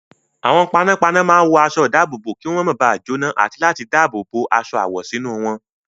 Àwọn panápaná máa ń wọ aṣọ-ìdáàbòbò kí wọ́n máa ba jóná àti láti dáàbò bo aṣọ àwọ̀ sínú wọn.